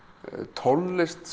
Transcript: tónlist